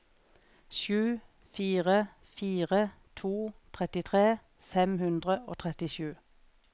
sju fire fire to trettitre fem hundre og trettisju